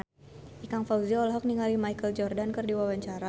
Ikang Fawzi olohok ningali Michael Jordan keur diwawancara